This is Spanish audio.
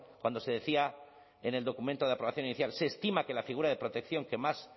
cuando se decía en el documento de aprobación inicial se estima que la figura de protección que más